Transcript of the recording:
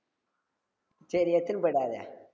சேரி எடுத்துனு போயிடாத